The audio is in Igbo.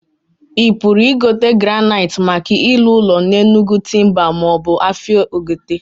I puru igote graniitee maka ilu ulo na Enugu Timbers ma obu afia Ogbete?